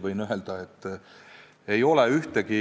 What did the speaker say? Võin öelda, et ei ole ühtegi